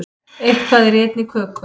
Eitthvað er í einni köku